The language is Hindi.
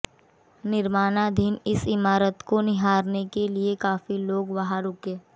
निर्माणाधीन इस इमारत को निहारने के लिए काफी लोग वहां रुके